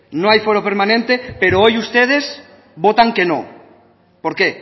no hay foro permanente pero hoy ustedes votan que no por qué